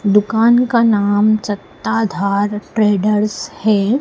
दुकान का नाम सत्ताधार ट्रेडर्स है।